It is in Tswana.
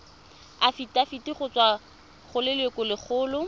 afitafiti go tswa go lelokolegolo